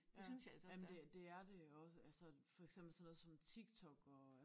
Ja jamen det det er det jo også altså for eksempel sådan noget som Tik Tok og